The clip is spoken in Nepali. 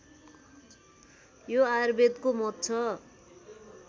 यो आयुर्वेदको मत छ